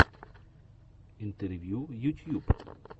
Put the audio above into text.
интервью ютьюб